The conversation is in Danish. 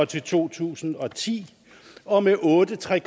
til to tusind og ti og med otte tre